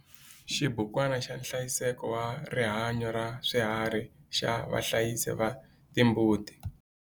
Xibukwana xa nhlayiseko wa rihanyo ra swiharhi xa vahlayisi va timbuti.